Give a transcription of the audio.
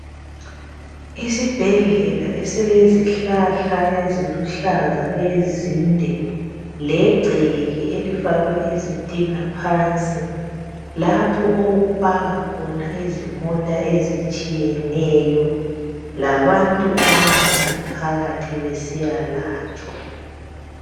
Esibhedlela esilezihlahla eziluhlaza ezinde legceke elifakwe izitina phansi lapho okupaka khona izimota ezitshiyeneyo labantu abangena phakathi besiyalatshwa